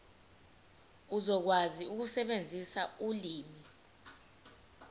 uzokwazi ukusebenzisa ulimi